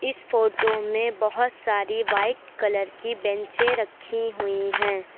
इस फोटो में बहुत सारी व्हाइट कलर की बैंचें रखी हुई हैं।